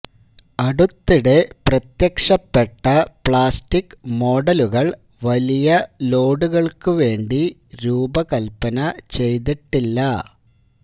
അടുത്തിടെ പ്രത്യക്ഷപ്പെട്ട പ്ലാസ്റ്റിക് മോഡലുകൾ വലിയ ലോഡുകൾക്ക് വേണ്ടി രൂപകൽപ്പന ചെയ്തിട്ടില്ല